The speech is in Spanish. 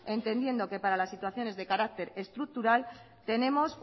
entendiendo que para las situaciones de carácter estructural tenemos